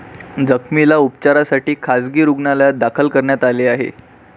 जखमीला उपचारासाठी खासगी रूग्णालयात दाखल करण्यात आले आहे.